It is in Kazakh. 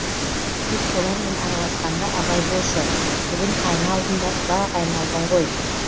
тек солармен араласқанда абай болшы бүгін айна алдында ұзақ айналдың ғой